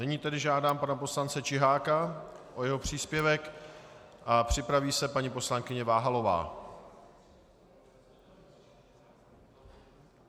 Nyní tedy žádám pana poslance Čiháka o jeho příspěvek a připraví se paní poslankyně Váhalová.